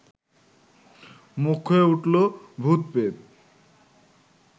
মুখ্য হয়ে উঠল ভূত-প্রেত!